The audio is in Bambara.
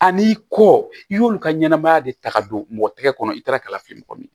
Ani kɔ i y'olu ka ɲɛnɛmaya de ta ka don mɔgɔ tɛgɛ kɔnɔ i taara kala fɛ yen mɔgɔ min